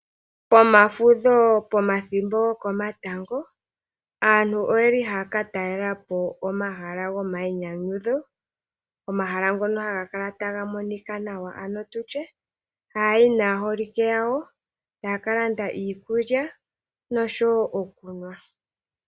Pomafudho, pomathimbo gokomatango, aantu oye li haa ka talela po omahala gomayinyanyudho. Omahala ngono haga kala taga monika nawa, ano tu tye haa yi naaholike yawo, taa ka landa iikulya, nosho wo okunwa.